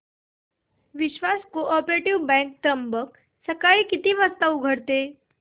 विश्वास cooperative bank Trimbak सकाळी किती वाजता उघडते